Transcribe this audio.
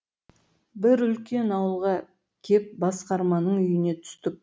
бір үлкен ауылға кеп басқарманың үйіне түстік